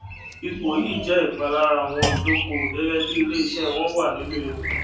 ipò yìí jẹ ìpalára àwọn olùdókòwò gẹgẹ bíi ilé iṣẹ wọn wà nínú ewu